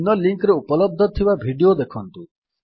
ନିମ୍ନ ଲିଙ୍କ୍ ରେ ଉପଲବ୍ଧ ଥିବା ଭିଡିଓ ଦେଖନ୍ତୁ